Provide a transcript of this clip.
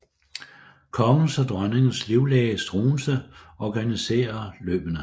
Kongens og dronningens livlæge Struensee organisere løbene